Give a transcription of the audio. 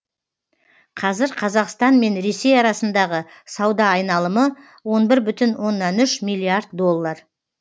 қазір қазақстан мен ресей арасындағы сауда айналымы он бір бүтін оннан үш миллиард доллар